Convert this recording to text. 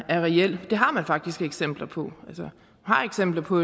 er reel det har man faktisk eksempler på man har eksempler på